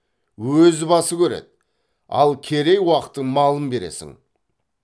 өз басы көреді ал керей уақтың малын бересің